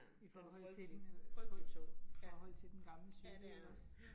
I forhold til forhold til den gamle cykel ikke også